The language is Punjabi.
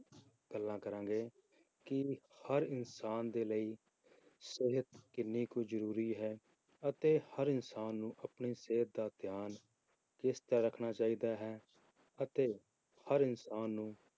ਗੱਲਾਂ ਕਰਾਂਗੇ, ਕਿ ਹਰ ਇਨਸਾਨ ਦੇ ਲਈ ਸਿਹਤ ਕਿੰਨੀ ਕੁ ਜ਼ਰੂਰੀ ਹੈ ਅਤੇ ਹਰ ਇਨਸਾਨ ਨੂੰ ਆਪਣੀ ਸਿਹਤ ਦਾ ਧਿਆਨ ਕਿਸ ਤਰ੍ਹਾਂ ਰੱਖਣਾ ਚਾਹੀਦਾ ਹੈ, ਅਤੇ ਹਰ ਇਨਸਾਨ ਨੂੰ